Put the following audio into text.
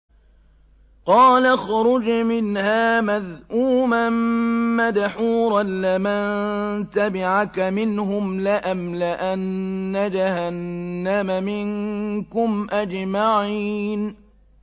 قَالَ اخْرُجْ مِنْهَا مَذْءُومًا مَّدْحُورًا ۖ لَّمَن تَبِعَكَ مِنْهُمْ لَأَمْلَأَنَّ جَهَنَّمَ مِنكُمْ أَجْمَعِينَ